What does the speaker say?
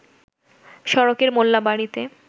সড়কের মোল্লা বাড়িতে